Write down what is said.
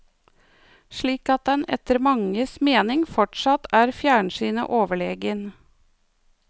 Slik at den etter mange mening fortsatt er fjernsynet overlegen.